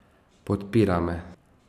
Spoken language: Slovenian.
Podpira me.